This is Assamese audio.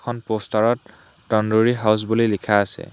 এইখন প'ষ্টাৰত তন্দুৰী হাউচ বুলি লিখা আছে।